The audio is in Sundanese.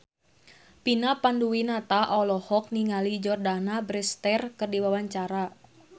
Vina Panduwinata olohok ningali Jordana Brewster keur diwawancara